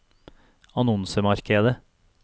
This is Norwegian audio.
annonsemarkedet